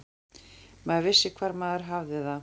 Maður vissi hvar maður hafði það.